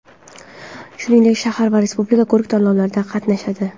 Shuningdek, shahar va respublika ko‘rik-tanlovlarida qatnashadi.